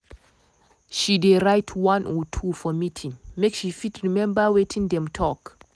she dey write one or or two for meeting make she fit remeber wetin dem talk.